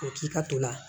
O k'i ka to la